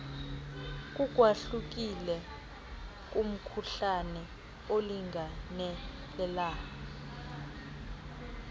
ukwahlukile kumkhuhlane olingenelela